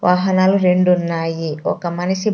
వాహనాలు రెండు ఉన్నాయి ఒక మనిషి.